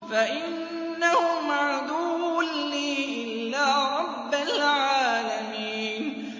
فَإِنَّهُمْ عَدُوٌّ لِّي إِلَّا رَبَّ الْعَالَمِينَ